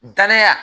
Danaya